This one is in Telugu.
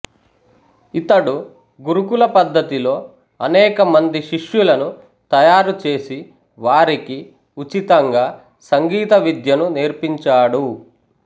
ఇతడు గురుకుల పద్ధతిలో అనేక మంది శిష్యులను తయారు చేసి వారికి ఉచితంగా సంగీత విద్యను నేర్పించాడు